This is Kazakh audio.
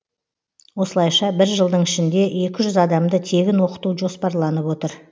осылайша бір жылдың ішінде екі жүз адамды тегін оқыту жоспарланып отыр